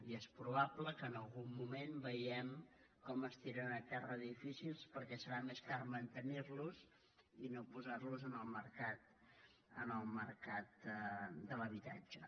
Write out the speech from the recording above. i és probable que en algun moment veiem com es tiren a terra edificis perquè serà més car mantenir los i no posar los en el mercat de l’habitatge